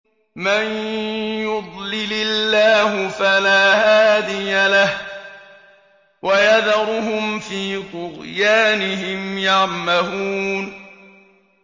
مَن يُضْلِلِ اللَّهُ فَلَا هَادِيَ لَهُ ۚ وَيَذَرُهُمْ فِي طُغْيَانِهِمْ يَعْمَهُونَ